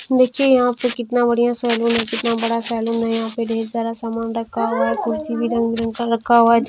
देखिए यहाँ पे कितना बढ़िया सलून हैं कितना बड़ा सलून हैं यहाँ पे ढेर सारा समान रखा हुआ हैं कुर्सी भी रंग- बिरंग का रखा हुआ है।